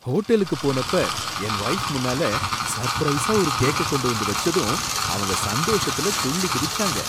ஹோட்டலுக்கு போனப்ப என் வைஃப் முன்னால சர்ப்ரைஸா ஒரு கேக்க கொண்டு வந்து வச்சதும் அவங்க சந்தோஷத்துல துள்ளி குதிச்சாங்க.